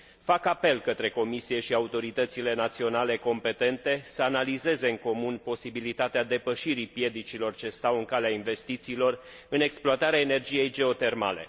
Fac apel către Comisie și autoritățile naționale competente să analizeze în comun posibilitatea depășirii piedicilor ce stau în calea investițiilor în exploatarea energiei geotermale.